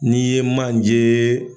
Ni ye manjeee.